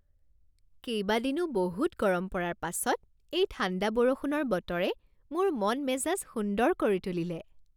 কেইবাদিনো বহুত গৰম পৰাৰ পাছত এই ঠাণ্ডা বৰষুণৰ বতৰে মোৰ মন মেজাজ সুন্দৰ কৰি তুলিলে